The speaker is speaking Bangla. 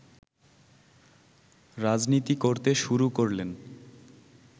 রাজনীতি করতে শুরু করলেন